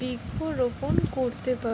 বৃক্ষরোপন করতে পা--